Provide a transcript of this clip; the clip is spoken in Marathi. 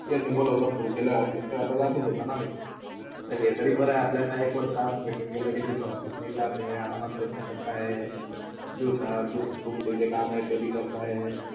त्यांना बोलोना सुरू केला office चा आता जाताच होताना मी, हे, तरी बरा आहे कि अपल्याला एक वर्ष आत भेटून गेला कि जिथे office नय जात हे आरामात कर करताय दिवसा दू तुमचेजे काम आहे ते करता